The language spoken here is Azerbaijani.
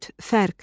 fərq.